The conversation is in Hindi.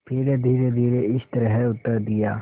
फिर धीरेधीरे इस तरह उत्तर दिया